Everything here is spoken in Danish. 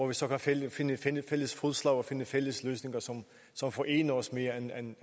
vi så kan finde finde fælles fodslag og finde fælles løsninger som forener os mere end